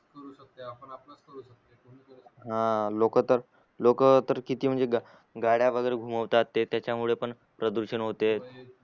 हा लोक तर लोक तर किती म्हणजे गा गाड्या वगेरे घुमवतात ते त्याच्या मुळे पण प्रदूषण होते